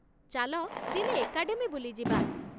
ଚାଲ ଦିନେ ଏକାଡେମୀ ବୁଲି ଯିବା!